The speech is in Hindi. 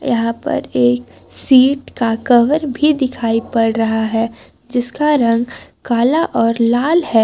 यहां पर एक सीट का कवर भी दिखाई पड़ रहा है जिसका रंग काला और लाल है।